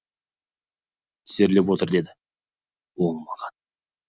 тізерлеп отыр деді ол маған